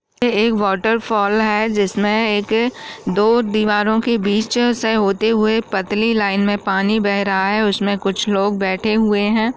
ये एक वॉटरफॉल है जिसमे एक दो दीवारों के बीच से होते हुए पतली लाइन में पानी बह रहा है उसमे कुछ लोग बैठे हुए है।